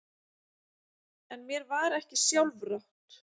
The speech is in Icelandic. En mér var ekki sjálfrátt.